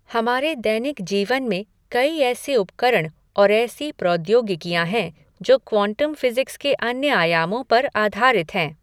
हमारे दैनिक जीवन में कई ऐसे उपकरण और ऐसी प्रौद्योगिकियां हैं जो क्वांटम फ़िज़िक्स के अन्य आयामों पर आधारित हैं।